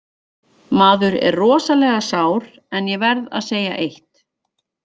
Maður er rosalega sár en ég verð að segja eitt.